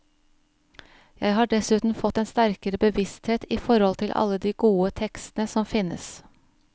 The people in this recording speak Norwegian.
Jeg har dessuten fått en sterkere bevissthet i forhold til alle de gode tekstene som finnes.